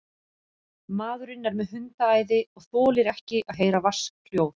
Maðurinn er með hundaæði og þolir ekki að heyra vatnshljóð.